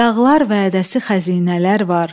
Dağlar vədəsi xəzinələr var.